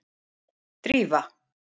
Drífa